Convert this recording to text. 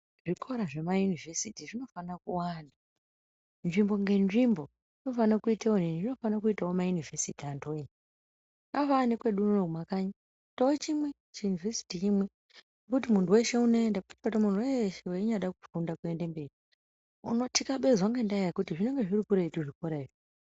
Zvikora zvemayunivhesiti zvinofane kuwanda nzvimbo ngenzvimbo inofane kuite onini zvinofane kuitawo mayinivhesiti antuwoye zvakafanane nekwedu unono kumakanyi kuitawo chimwe chiyunivhesiti chimwe chekuti muntu weshe unenda muntu weeshe weinyade kufunda kuenda mberi unotikabezwa ngendaya yekuti zvinenga zviri kuretu zvikora izvi.